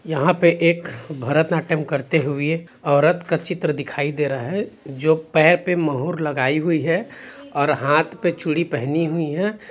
यहाँ पे एक भरतनाट्यम करते हुए औरत का चित्र दिखाई दे रहा है जो पैर पे मुहूर लगाई हुई है और हाथ पे चूड़ी पहनी हुई है।